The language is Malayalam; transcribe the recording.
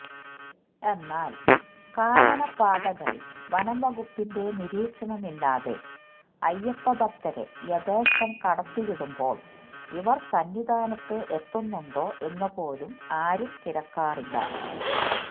എന്നാല് കാനനപാതകളില് വനംവകുപ്പിന്റെ നിരീക്ഷണം ഇല്ലാതെ അയ്യപ്പഭക്തരെ യഥേഷ്ടം കടത്തിവിടുബോള് ഇവര് സന്നിധാനത്ത് എത്തുന്നുണ്ടോ എന്നുപോലും ആരുംതിരക്കാറില്ല